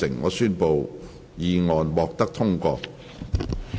我宣布議案獲得通過。